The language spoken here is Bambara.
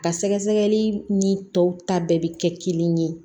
Ka sɛgɛsɛgɛli ni tɔw ta bɛɛ bi kɛ kelen ye